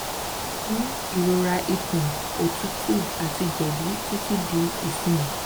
o ti ni irora ikun otutu ati jedijedi titi di isin